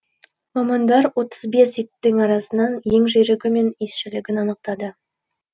мамандар отыз бес иттің арасынан ең жүйрігі мен иісшілігін анықтады